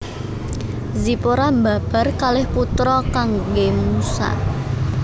Zipora mbabar kalih putra kanggè Musa